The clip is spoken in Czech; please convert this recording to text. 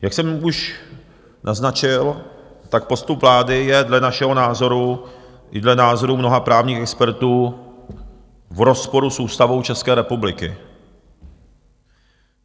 Jak jsem už naznačil, tak postup vlády je dle našeho názoru i dle názoru mnoha právních expertů v rozporu s Ústavou České republiky.